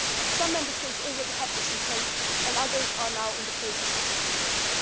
Some Member States already have this in place, and others are now in the process of setting it up.